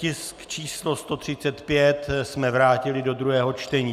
Tisk číslo 135 jsme vrátili do druhého čtení.